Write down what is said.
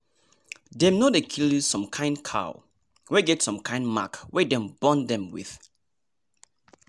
dem no dey kill some kind cow wey get some kind mark wey dem born dem with